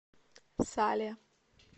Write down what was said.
сале